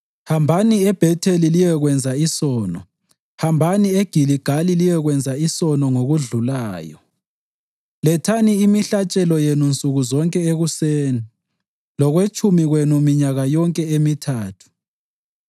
“Hambani eBhetheli liyekwenza isono; hambani eGiligali liyekwenza isono ngokudlulayo. Lethani imihlatshelo yenu nsuku zonke ekuseni lokwetshumi kwenu minyaka yonke emithathu.